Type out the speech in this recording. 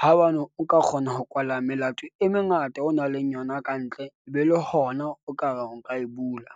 haebane o ka kgona ho kwala melato e mengata o nang leng yona kantle e be le hona, o ka reng o ka e bula.